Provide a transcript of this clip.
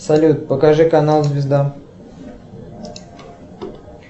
салют покажи канал звезда